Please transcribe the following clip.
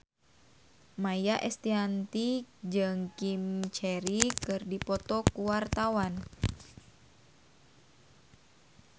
Maia Estianty jeung Jim Carey keur dipoto ku wartawan